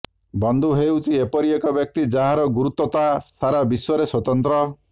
ବନ୍ଧୁ ହେଉଛି ଏପରି ବ୍ୟକ୍ତି ଯାହାର ଗୁରୁତ୍ୱତା ସାରା ବିଶ୍ୱରେ ସ୍ୱତନ୍ତ୍ର